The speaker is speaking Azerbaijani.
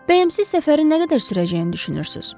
Bəy, siz səfərin nə qədər sürəcəyini düşünürsüz?